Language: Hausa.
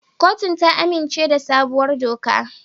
Kotun ta amince da sabuwar dokar.